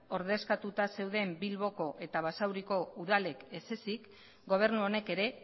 ordezkatuta zeuden bilboko eta basauriko udalek ezezik gobernu honek ere